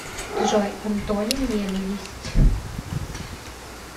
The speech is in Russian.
джой антоним ненависть